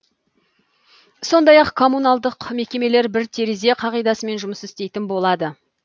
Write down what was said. сондай ақ коммуналдық мекемелер бір терезе қағидасымен жұмыс істейтін болады